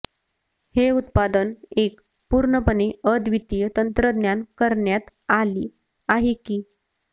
हे उत्पादन एक पूर्णपणे अद्वितीय तंत्रज्ञान करण्यात आली आहे की